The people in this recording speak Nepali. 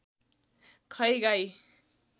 खै गाई